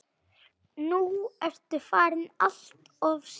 Nú ertu farin alltof snemma.